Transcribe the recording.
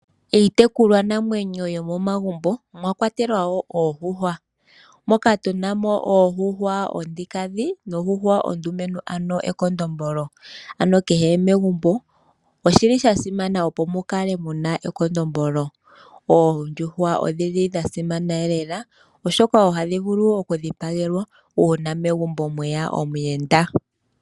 Iitekulwa namwenyo yomo magumbo omwa kwatelwa wo Oondjuhwa moka tuna mo oondjuhwa onkiintu noondjuhwa oondumentu ano ekondombolo. Ano kehe megumbo oshili sha simana opo mukale muna ekondombolo. Oondjuhwa odhili dha simana elela, oshoka ohadhi vulu oku dhipagelwa uuna megumbo mweya omuyenda.